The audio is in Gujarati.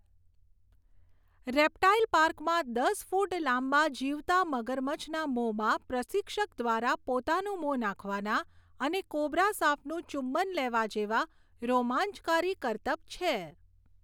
રેપ્ટાઇલ પાર્કમાં દસ ફુટ લાંબા જીવતા મગરમચ્છના મોંમાં પ્રશિક્ષક દ્વારા પોતાનું મોં નાખવાના અને કોબરા સાપનું ચુંબન લેવા જેવા રોમાંચકારી કર્તબ છે.